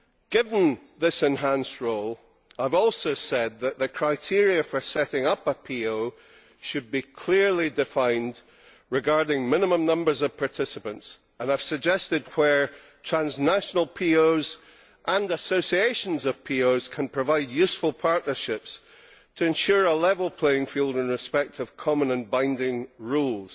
Given this enhanced role, I have also said that the criteria for setting up a PO should be clearly defined as regards the minimum number of participants, and I have suggested where transnational POs and associations of POs can provide useful partnerships to ensure a level playing field in respect of common and binding rules.